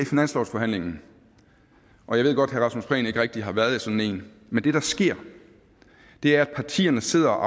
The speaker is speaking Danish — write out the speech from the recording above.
finanslovsforhandlingen og jeg ved godt herre rasmus prehn ikke rigtig har været i sådan en men det der sker er at partierne sidder og